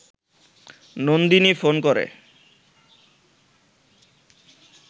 Nandini phone করে